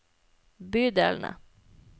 bydelene